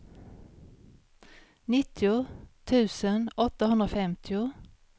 nittio tusen åttahundrafemtio